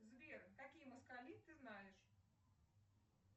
сбер какие москали ты знаешь